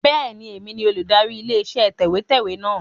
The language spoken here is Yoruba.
Bẹ́ẹ̀ni, èmi ni olùdarí ilé iṣẹ́ tẹ̀wẹ́tẹ́wẹ́ náà.